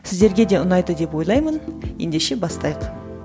сіздерге де ұнайды деп ойлаймын ендеше бастайық